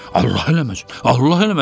Allah eləməsin.